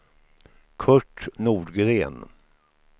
Curt Nordgren